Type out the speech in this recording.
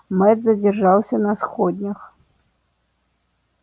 мэтт задержался на сходнях